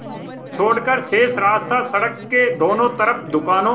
छोड़कर शेष रास्ता सड़क के दोनों तरफ़ दुकानों